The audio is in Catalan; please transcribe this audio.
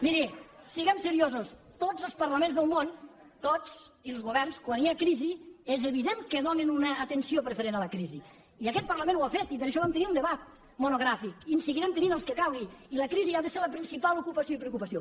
miri siguem seriosos tots els parlaments del món tots i els governs quan hi ha crisi és evident que donen una atenció diferent a la crisi i aquest parlament ho ha fet i per això vam tenir un debat monogràfic i en seguirem tenint els que calguin i la crisi ha de ser la principal ocupació i preocupació